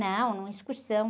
Não, numa excursão.